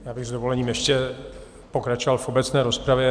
Já bych s dovolením ještě pokračoval v obecné rozpravě.